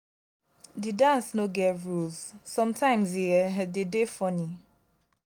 di dance no get rules sometimes e um de dey funny